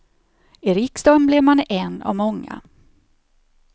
I riksdagen blir man en av många.